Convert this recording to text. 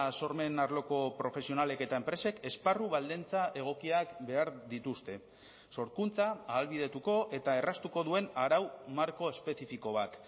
sormen arloko profesionalek eta enpresek esparru baldintza egokiak behar dituzte sorkuntza ahalbidetuko eta erraztuko duen arau marko espezifiko bat